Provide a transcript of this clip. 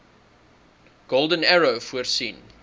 golden arrow voorsien